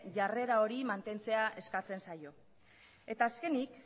jarrera hori mantentzea eskatzen zaio eta azkenik